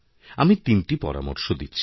আমি তিনটি পরামর্শ দিচ্ছি